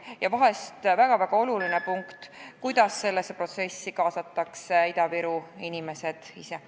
Ja veel üks väga-väga oluline küsimus: kuidas sellesse protsessi kaasatakse Ida-Viru inimesed ise?